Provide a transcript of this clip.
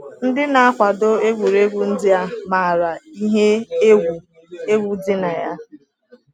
Ndị na-akwado egwuregwu ndị a maara ihe egwu egwu dị na ya.